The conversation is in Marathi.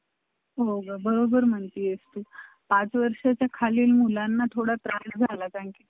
आणि पहिली गोष्ट म्हणजे बोलून घेतल्यावर अडचण येत नाही त्यामुळं त्याला उद्या आणायचा बोलायचं.